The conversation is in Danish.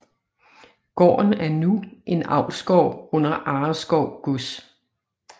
Gården er nu en avlsgård under Arreskov Gods